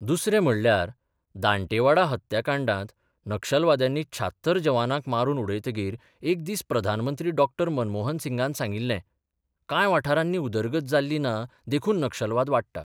दुसरे म्हणल्यार दांटेवाडा हत्याकांडांत नक्षलवाद्यांनी 76 जवानांक मारून उडयतकीर एक दीस प्रधानमंत्री डॉ मनमोहन सिंगान सांगिल्ले-'कांय बाठारांनी उदरगत जाल्ली ना देखून नक्षलवाद वाडटा.